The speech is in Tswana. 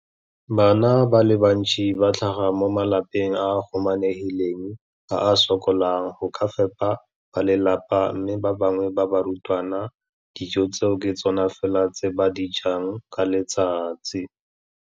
Bana ba le bantsi ba tlhaga mo malapeng a a humanegileng a a sokolang go ka fepa ba lelapa mme ba bangwe ba barutwana, dijo tseo ke tsona fela tse ba di jang ka letsatsi.